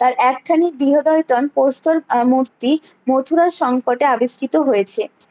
তার এক ছানি গৃহদয়ে টন কৌশল আর মূর্তি মথুরার সংকটে আবিষ্কৃত হয়েছে